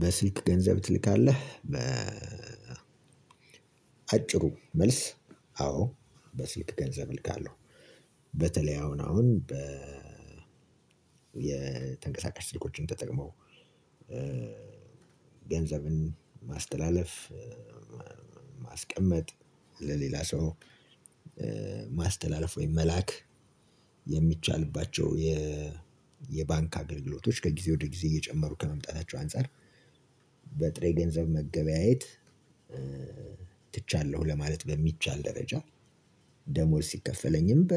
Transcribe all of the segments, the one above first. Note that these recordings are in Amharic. በስልክ ገንዘብ ትልካለህ በ አጭሩ መልስ። አዎ በስልክ ገንዘብ እልካለሁ። በተለይ አሁን አሁን በ የተንቀሳቃሽ ስልኮችን ተጠቅመው ገንዘብን ማስተላለፍ ማስቀመጥ ለሌላ ሰው። ማስተላለፍ ወይም መላክ የሚቻልባቸው የባንክ አገልግሎቶች ከጊዜ ወደ ጊዜ እየጨመሩ ከመምጣታቸው አንፃር በጥሬ ገንዘብ መገበያየት ትቻለሁ ለማለት በሚቻል ደረጃ። ደሞዝ ሲከፈለኝም በ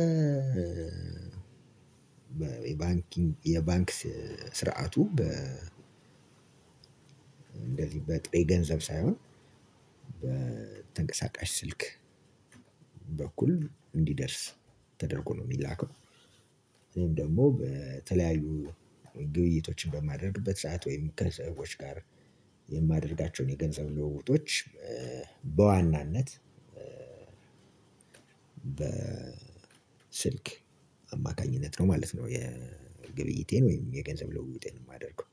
ባንክን የባንክ ስርዓቱ በ እንደዚህ በጥሬ ገንዘብ ሳይሆን በተንቀሳቃሽ ስልክ በኩል እንዲደርስ ተደርጎ ነው ሚላከው። እኔም ደግሞ በተለያዩ ግብይቶችን በማደርግበት ሰዓት ወይም ከሰዎች ጋር የማደርጋቸውን የገንዘብ ልውውጦች በዋናነት በስልክ አማካኝነት ነው ማለት ነው የግብይይቴን ወይም የገንዘብ ልውውጤን የማደርገው።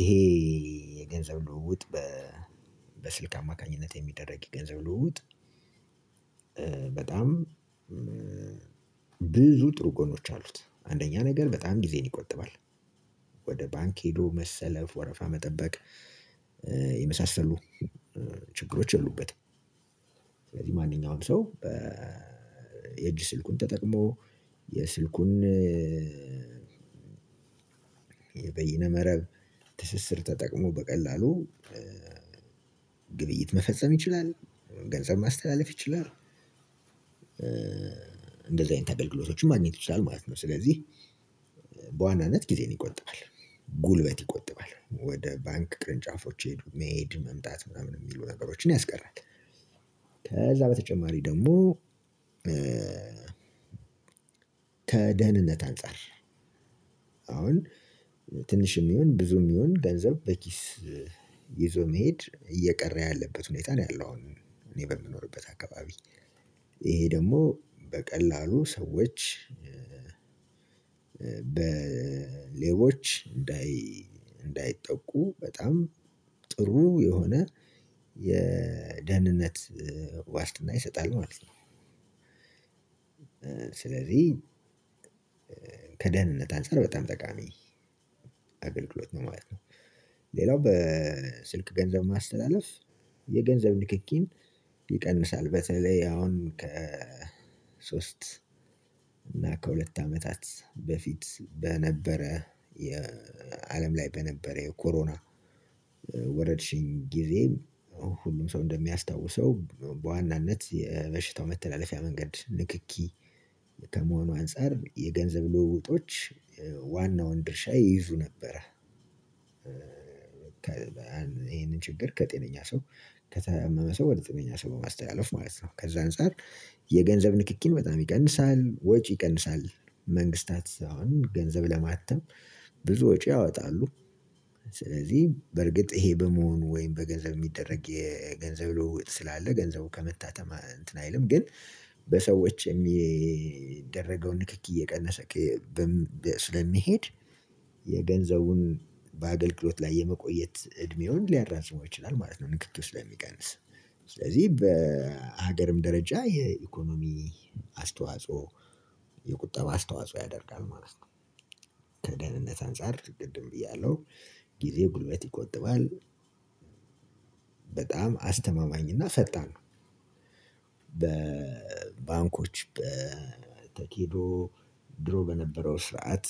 ይሄ የገንዘብ ልውውጥ በስልክ አማካኝነት የሚደረግ የገንዘብ ልውውጥ። በጣም ብዙ ጥሩ ጎኖች አሉት አንደኛ ነገር በጣም ጊዜን ይቆጥባል። ወደ ባንክ ሄዶ መሰለፍ ወረፋ መጠበቅ የመሳሰሉ ችግሮች የሉበትም። ስለዚህ ማንኛውም ሰው በ የእጅ ስልኩን ተጠቅሞ የስልኩን የበይነ መረብ ትስስር ተጠቅሞ በቀላሉ ግብይት መፈጸም ይችላል ገንዘብ ማስተላለፍ ይችላል። እንደዚህ አይነት አገልግሎቶችን ማግኘት ይችላል ማለት ነው። ስለዚህ በዋናነት ጊዜን ይቆጥባል ጉልበት ይቆጥባል ወደ ባንክ ቅርንጫፎች ሄዱ መሄድ መምጣት ምናምን የሚሉ ነገሮችን ያስቀራል። ከዛ በተጨማሪ ደግሞ ከደህንነት አንፃር አሁን ትንሽም ይሁን ብዙም ይሁን ገንዘብ በኪስ ይዞ መሄድ እየቀረ ያለበት ሁኔታ ነው ያለው አሁን እኔ በምኖርበት አካባቢ ይሄ ደግሞ በቀላሉ ሰዎች በሌቦች እንዳይ እንዳይጠቁ በጣም ጥሩ የሆነ የደህንነት ዋስትና ይሰጣል ማለት ነው። ስለዚህ ከደህንነት አንፃር በጣም ጠቃሚ አገልግሎት ነው ማለት ነው። ሌላው በስልክ ገንዘብ ማስተላለፍ የገንዘብ ንክኪን ይቀንሳል። በተለይ አሁን ከ ሶስት እና ከሁለት አመታት በፊት በነበረ የአለም ላይ በነበረ የኮሮና ወረርሽኝ ጊዜ ሁሉም ሰው እንደሚያስታውሰው በዋናነት የበሽታው መተላለፊያ መንገድ ንክኪ ከመሆኑ አንፃር የገንዘብ ልውውጦች ዋናውን ድርሻ ይይዙ ነበረ። ይህንን ችግር ከጤነኛ ሰው ከታመመ ሰው ወደ ጤነኛ ሰው ማስተላለፍ ማለት ነው ከዛ አንፃር የገንዘብ ንክኪን በጣም ይቀንሳል ወጪ ይቀንሳል። መንግስታትም ገንዘብ ለማተም ብዙ ወጪ ያወጣሉ። ስለዚህ በርግጥ ይሄ በመሆኑ ወይም በገንዘብ የሚደረግ የገንዘብ ልውውጥ ስላለ ገንዘቡ ከመታተም እንትን አይልም ግን በሰዎች የሚደረገውን ንክኪ እየቀነሰ ስለሚሄድ የገንዘቡን በአገልግሎት ላይ የመቆየት እድሜውን ሊያራዝመው ይችላል ማለት ነው። ንክኪው ስለሚቀንስ ስለዚህ በሀገርም ደረጃ የኢኮኖሚ አስተዋጽኦ የቁጠባ አስተዋጽኦ ያደርጋል ማለት ነው። ከደህንነት አንፃር ቅድም ብያለው ጊዜ ጉልበት ይቆጥባል። በጣም አስተማማኝ እና ፈጣን ነው። በባንኮች በተኪዶ ድሮ በነበረው ስርዓት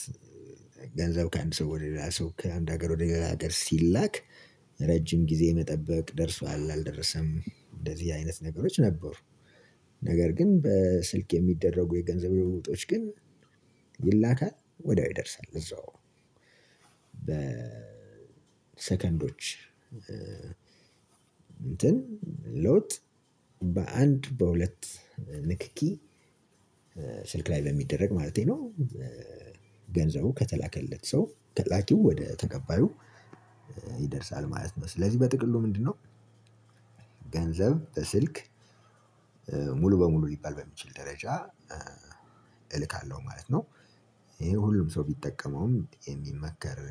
ገንዘብ ከአንድ ሰው ወደ ሌላ ሰው ከአንድ ሀገር ወደ ሀገር ሲላክ ረጅም ጊዜ መጠበቅ ደርሷል አልደረሰም እንደዚህ አይነት ነገሮች ነበሩ። ነገር ግን በስልክ የሚደረጉ የገንዘብ ልውውጦች ግን ይላካል ወዲያው ይደርሳል እዛው። በሰከንዶች እንትን ለውጥ በአንድ በሁለት ንክኪ ስልክ ላይ በሚደረግ ማለቴ ነው። ገንዘቡ ከተላከለት ሰው ተላኪው ወደ ተቀባዩ ይደርሳል ማለት ነው። ስለዚህ በጥቅሉ ምንድነው? ገንዘብ በስልክ ሙሉ በሙሉ ሊባል በሚችል ደረጃ እልካለሁ ማለት ነው። ይሄ ሁሉም ሰው ቢጠቀመውም የሚመከር